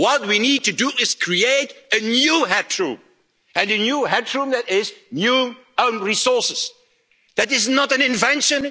What we need to do is create a new headroom, and a new headroom that is new own resources. That is not an invention.